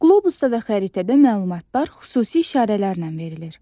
Qlobusda və xəritədə məlumatlar xüsusi işarələrlə verilir.